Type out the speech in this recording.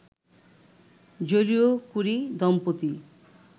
Joliot Curie দম্পতি